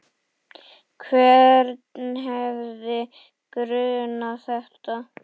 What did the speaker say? Hvern hefði grunað þetta?